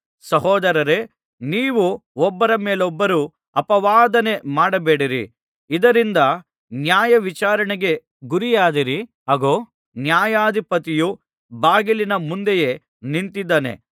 ಸಹೋದರರೇ ನೀವು ಒಬ್ಬರ ಮೇಲೊಬ್ಬರು ಆಪವಾದನೆ ಮಾಡಬೇಡಿರಿ ಇದರಿಂದ ನ್ಯಾಯವಿಚಾರಣೆಗೆ ಗುರಿಯಾದಿರಿ ಅಗೋ ನ್ಯಾಯಾಧಿಪತಿಯು ಬಾಗಿಲಿನ ಮುಂದೆಯೇ ನಿಂತಿದ್ದಾನೆ